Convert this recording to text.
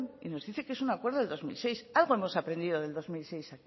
y nos dice que es un acuerdo de dos mil seis algo hemos aprendido del dos mil seis